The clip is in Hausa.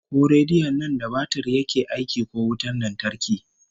Ko rediyon nan da batir yake aiki ko wutan lantarki?